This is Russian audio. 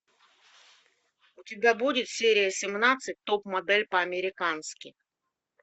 у тебя будет серия семнадцать топ модель по американски